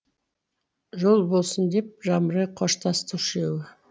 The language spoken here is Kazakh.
жол болсын деп жамырай қоштасты үшеуі